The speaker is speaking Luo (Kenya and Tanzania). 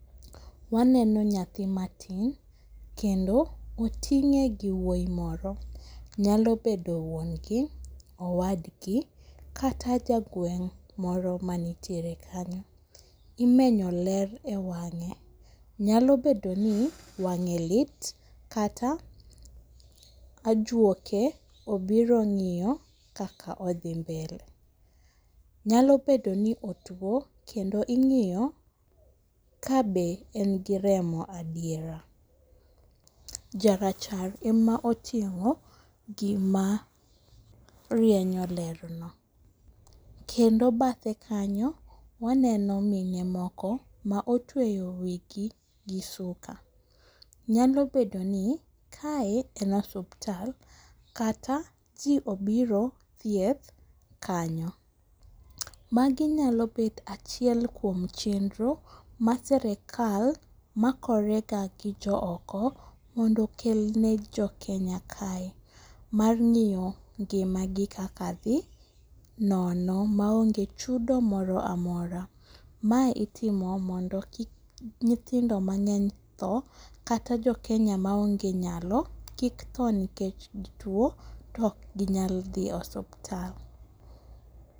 Waneno nyathi matin, kendo oting'e gi wuoyi moro, nyalo bedo wuon gi owadgi kata jagweng' moro manitiere kanyo. Imenyo ler e wang'e, nyalo bedo ni wang'e lit kata ajuoke obiro ng'iyo kaka odhi mbele. Nyalo bedo ni otuwo kendo ing'iyo kabe en gi remo adiera. Jarachar ema ochimo gima rienyo lerno. Kendo bathe kanyo, waneno mine moko ma otweyo wigi gi suka, nyalo bedo nikae en osuptal kata ji obiro thieth kanyo. Magi nyalo bet achiel kuom chenro ma sirikal makorega gi jo oko mondo okel ne Jokenya kae mar ng'iyo ngimagi kaka dhi nono maonge chudo mora mora. Mae itimo mondo kik nyithindo mang'eny tho kata jo Kenya maonge nyalo kik tho nikech gitwo to ok ginyal dhi osuptal.